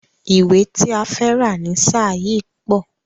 Ìwé ti a fẹ́ rà ni ṣáà yìí pọ̀.